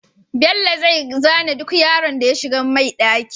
Bello zai zane duk yaron da ya shigar mai ɗaki